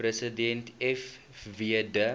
president fw de